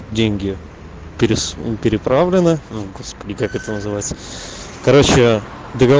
деньги приправлена господи как это называется короче